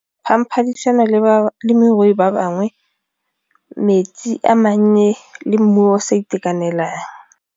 le balemirui ba bangwe, metsi a mannye le mmu o sa itekanelang.